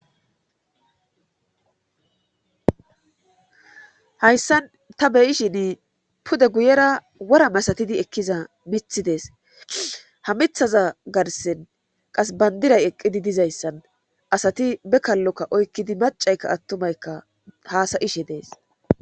Hayssan ta beyishin pude guyera wora masatidi ekkiza mithi dees hamithaza garsen qas bandiray eqqidi dizayssan asati be kallokka oykkidi macaykka attumaykka haasayishe dees